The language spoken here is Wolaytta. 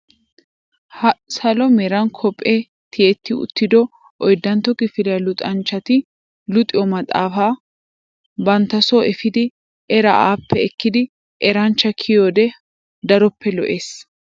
Ha salo meran koppee tiyetti uttido oyddantto kifiliyaa luxanchchati luxiyoo maxaafaa bantta soo efiidi eraa appe ekkidi eranchcha kiyoode daroppe lo"ees.